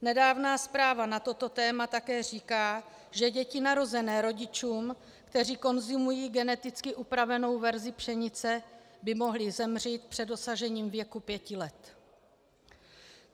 Nedávná zpráva na toto téma také říká, že děti narozené rodičům, kteří konzumují geneticky upravenou verzi pšenice, by mohly zemřít před dosažením věku pěti let.